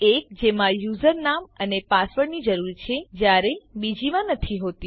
એક જેમાં યુઝરનામ અને પાસવર્ડની જરૂર છે જયારે બીજીમાં નથી હોતી